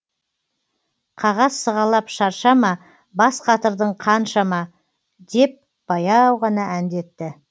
қағаз сығалап шаршама бас қатырдың қаншама деп баяу ғана әндетті